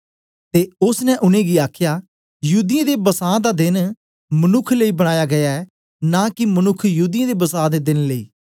ते ओसने उनेंगी आखया युदियें दे बसां दे देन मनुक्ख लेई बनाया गीया ऐ न कि मनुक्ख युदियें दे बसां दे देन लेई